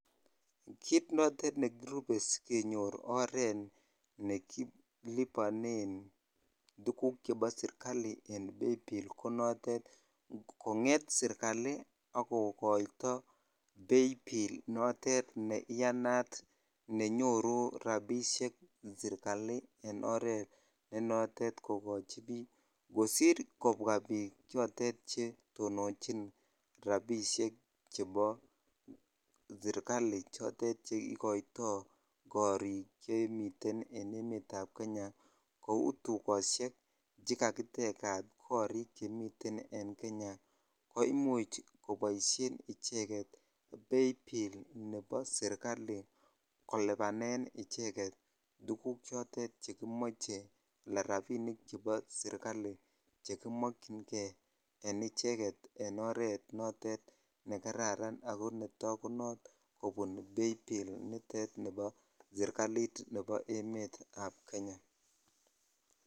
Kit notet nekirupe sikenyo oret nekolibonen tuguk chebo sirkali en paybill ko notet konget sirkali kokoito paybill notet neiyanat nenyoru rabishek serkali nenotet kokochi biik kosir kobwa biik chotet chetononchin chebo serkali cheikoitoi koril chemiten en emet ab Kenya kou tuloshek chekakitejat korik chemiten en Kenya ko imuch koboisien icheket paybill nebo serkali kolipanen icheket tukuk choton chekimoche ala rabinik chebo serkali chekimokyinkei en icheket en oret notet nekararan ako takunot kobun paybill nitet bo serkalit nebo emet ab Kenya.